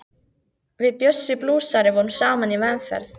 Við Bjössi blúsari vorum saman í meðferð.